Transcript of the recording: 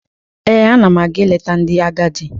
Ee, ana m aga ileta ndị agadi.